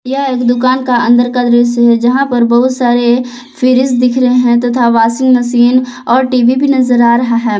यह एक दुकान का अंदर का दृश्य है यहां पर बहुत सारे फ्रिज दिख रहे हैं तथा वाशिंग मशीन और टी_वी भी नजर आ रहा है।